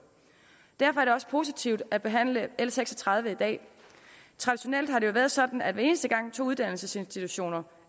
derfor er det også positivt at behandle l seks og tredive i dag traditionelt har det jo været sådan at hver eneste gang to uddannelsesinstitutioner